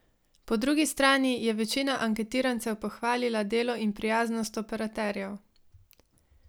Po drugi strani je večina anketirancev pohvalila delo in prijaznost operaterjev.